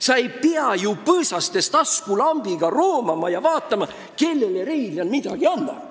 Seal ei pidanud ju põõsastes taskulambiga roomama ja vaatama, kellele Reiljan midagi andis.